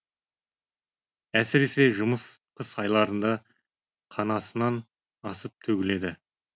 әсіресе жұмыс қыс айларында қанасынан асып төгіледі